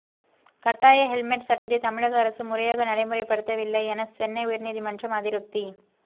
கட்டாய ஹெல்மெட் சட்டத்தை தமிழக அரசு முறையாக நடைமுறைப்படுத்தவில்லை என சென்னை உயர்நீதிமன்றம் அதிருப்தி